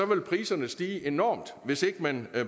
vil priserne stige enormt hvis ikke man